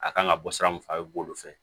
A kan ka bɔ sira mun fɛ a bɛ b'olu fɛ